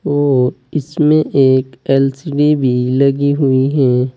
और इसमें एक एल_सी_डी भी लगी हुई है।